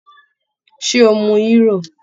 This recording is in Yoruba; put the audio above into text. Ṣé o mu Hírò?